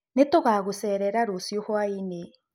Nĩtũgagũcerera rũcĩũ hwaiinĩ.